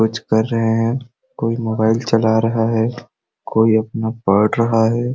कुछ कर रहे है कोई मोबाइल चला रहा है कोई अपना पढ़ रहा है।